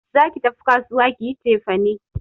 Za ki tafi kasuwa ki yi cefane!